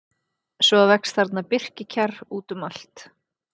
Svo vex þarna birkikjarr út um allt.